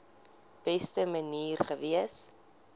beste manier gewees